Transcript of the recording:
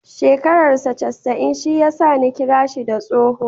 Shekarar saa casa'in shi ya sa Ni kira shi da tsoho.